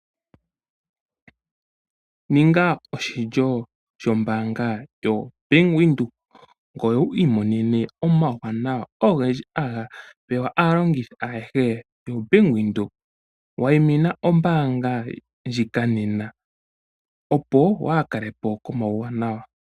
Ninga oshilyo shombaanga yoBank windhoek ngoye wu imonene omauwanawa ogendji haga pewa aalongithi ayehe yoBank Windhoek. Wayimina ombaanga ndjika nena opo waa kalepo ko mauwanawa.